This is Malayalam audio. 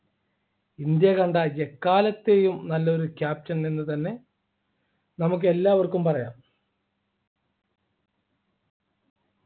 ഇന്ത്യ കണ്ട എക്കാലത്തെയും നല്ലൊരു ക്യാപ്റ്റൻ എന്ന് തന്നെ നമുക്ക് എല്ലാവർക്കും പറയാം